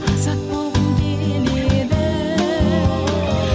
азат болғым келеді